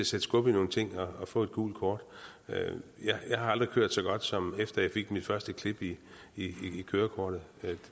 sætte skub i nogle ting at få et gult kort jeg har aldrig kørt så godt som efter jeg fik mit første klip i kørekortet